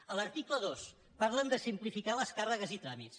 a l’article dos parlen de simplificar les càrregues i tràmits